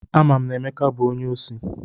Ama m na Emeka bụ onye osi.